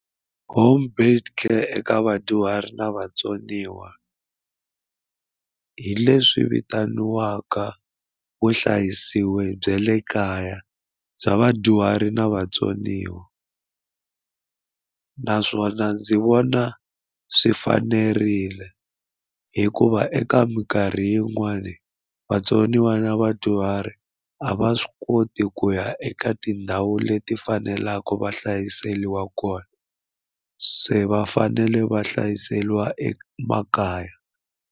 Home based care eka vadyuhari na vatsoniwa hi leswi vitaniwaka vuhlayisiwi bya le kaya bya vadyuhari na vatsoniwa naswona ndzi vona swi fanerile hikuva eka minkarhi yin'wani vatsoniwa na vadyuhari a va swi koti ku ya eka tindhawu leti faneleke va hlayiseliwa kona se va fanele va hlayiseriwa emakaya.